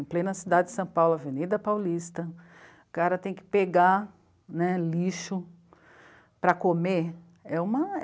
Em plena cidade de São Paulo, Avenida Paulista, o cara tem que pegar né, lixo para comer.